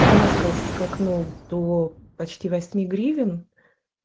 резко скакнул до почти восьми гривен